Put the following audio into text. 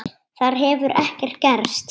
Þar hefur ekkert gerst.